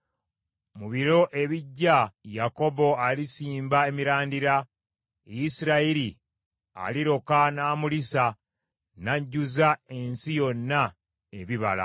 Mu biro ebijja Yakobo alisimba emirandira, Isirayiri aliroka n’amulisa n’ajjuza ensi yonna ebibala.